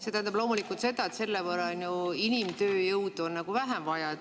See tähendab loomulikult seda, et selle võrra on ju inimtööjõudu vähem vaja.